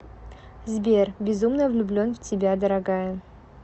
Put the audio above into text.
сбер безумно влюблен в тебя дорогая